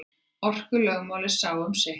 Orkulögmálið sá um sitt.